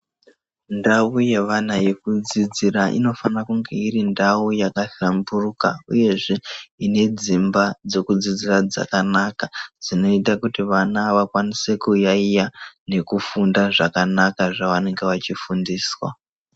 Ndau yevana yekudzidzira inofana kunge iri ndau yakahlamburuka uyezve inedzimba dzokudzidzira dzakanaka dzinoita kuti vana vakwanise kuyaiya nekufunda zvakanaka zvavanenge vachifundiswa.